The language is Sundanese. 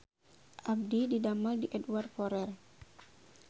Abdi didamel di Edward Forrer